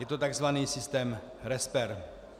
Je to tzv. systém RESPER.